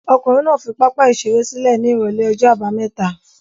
Ọkùnrin náà fi pápá-ìṣeré sílẹ̀ ní ìrọ́lẹ́ ọjọ́ àbámẹ́ta?